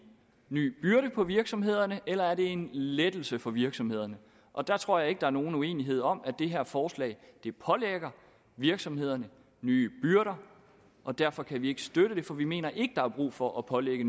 ny byrde på virksomhederne eller om det er en lettelse for virksomhederne og jeg tror ikke der er nogen uenighed om at det her forslag pålægger virksomhederne nye byrder og derfor kan vi ikke støtte det for vi mener ikke der er brug for at pålægge